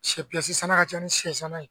Sɛ sanna ka ca ni sɛ sanna ye